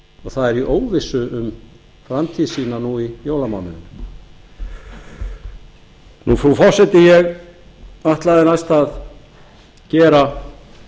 og það er í óvissu um framtíð sína nú í jólamánuðinum frú forseti ég ætlaði næst að gera